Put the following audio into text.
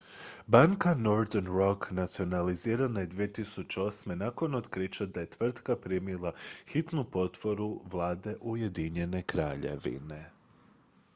banka northern rock nacionalizirana je 2008. nakon otkrića da je tvrtka primila hitnu potporu vlade ujedinjene kraljevine